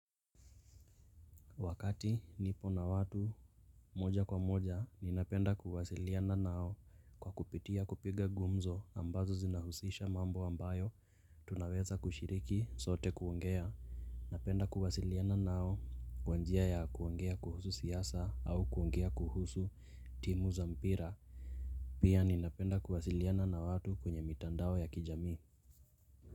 Wakati nipo na watu moja kwa moja ninapenda kuwasiliana nao kwa kupitia kupiga gumzo ambazo zinahusisha mambo ambayo tunaweza kushiriki sote kuongea. Napenda kuwasiliana nao kwa njia ya kuongea kuhusu siasa au kuongea kuhusu timu za mpira. Pia ninapenda kuwasiliana na watu kwenye mitandao ya kijami.